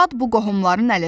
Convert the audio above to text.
Dad bu qohumların əlindən.